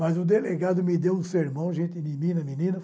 Mas o delegado me deu um sermão, gente, menina, menina.